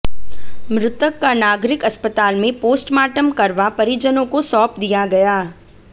मृतक का नागरिक अस्पताल में पोस्टमार्टम करवा परिजनों को सौंप दिया गया